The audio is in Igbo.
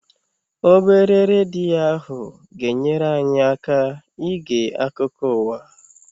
Obere redio ahụ ga-enyere anyị aka ige akụkụ ụwa.